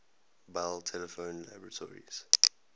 bell telephone laboratories